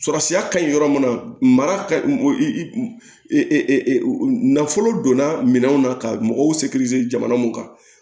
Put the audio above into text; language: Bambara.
Sɔrɔsiya ka ɲi yɔrɔ min na mara ka nafolo donna minɛnw na ka mɔgɔw jamana mun kan